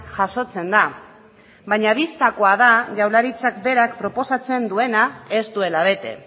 jasotzen da baina bistakoa da jaurlaritzak berak proposatzen duena ez duela bete